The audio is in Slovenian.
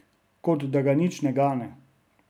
Kot da ga nič ne gane.